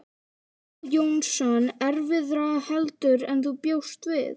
Viggó Jónsson: Erfiðara heldur en þú bjóst við?